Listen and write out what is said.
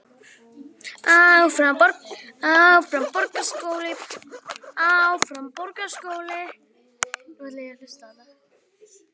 Þannig fær hann vissan bata.